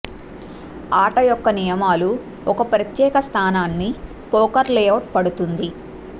ఆట యొక్క నియమాలు ఒక ప్రత్యేక స్థానాన్ని పోకర్ లేఅవుట్ పడుతుంది